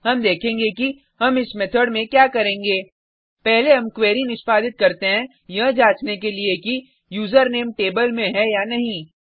अब हम देखेंगे कि हम इस मेथड में क्या करेंगे पहले हम क्वेरी निष्पादित करते हैं यह जांचने के लिए कि यूजरनेम टेबल में है या नहीं